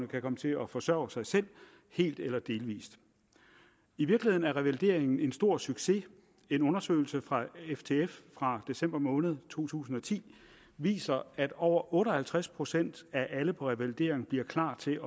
kan komme til at forsørge sig selv helt eller delvis i virkeligheden er revalideringen en stor succes en undersøgelse fra ftf fra december måned to tusind og ti viser at over otte og halvtreds procent af alle på revalidering bliver klar til